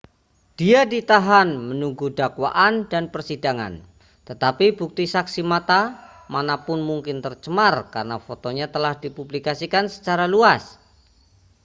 dia ditahan menunggu dakwaan dan persidangan tetapi bukti saksi mata mana pun mungkin tercemar karena fotonya telah dipublikasikan secara luas